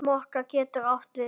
Mokka getur átt við um